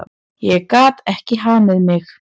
Ég gat ekki hamið mig.